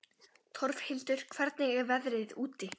Torfhildur, hvernig er veðrið úti?